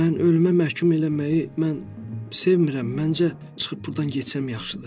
Mən ölümə məhkum eləməyi, mən sevmirəm, məncə, çıxıb burdan getsəm yaxşıdır.